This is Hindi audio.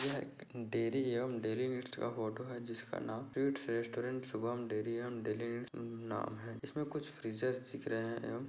यह डेरी एवम डेरी नीड्स का फोटो हैं जिसका नाम restaurant Shubham dairy and dairy needs नाम हैं इसमें कुछ फ्रीजर्स दिख रहे है एवम--